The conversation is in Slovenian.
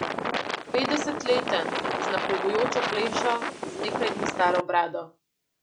Petdesetleten, z napredujočo plešo, z nekaj dni staro brado.